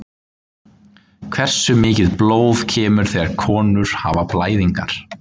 Hversu mikið blóð kemur þegar konur hafa blæðingar?